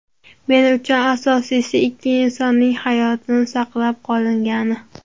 Men uchun asosiysi ikki insonning hayoti saqlab qolingani.